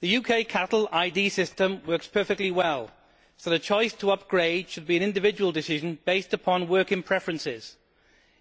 The UK cattle ID system works perfectly well, so the choice to upgrade should be an individual decision based on working preferences.